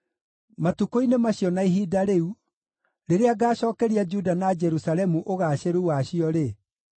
“Matukũ-inĩ macio, na ihinda rĩu, rĩrĩa ngaacookeria Juda na Jerusalemu ũgaacĩru wacio-rĩ,